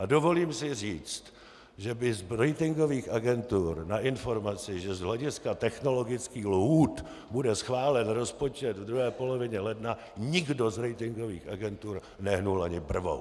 A dovolím si říct, že by z ratingových agentur na informaci, že z hlediska technologických lhůt bude schválen rozpočet v druhé polovině ledna, nikdo z ratingových agentur nehnul ani brvou.